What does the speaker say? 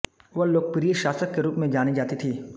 वह लोकप्रिय शासक के रूप में जानी जाती थीं